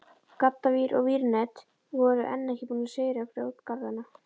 Gaddavír og vírnet voru enn ekki búin að sigra grjótgarðana.